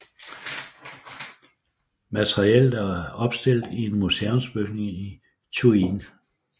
Materiellet er opstillet i en museumsbygning i Thuin